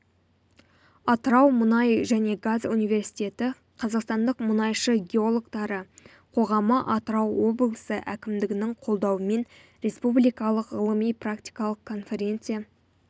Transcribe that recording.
атырау мұнай және газ университеті қазақстандық мұнайшы геологтары қоғамы атырау облысы әкімдігінің қолдауымен республикалық ғылыми-практикалық конференция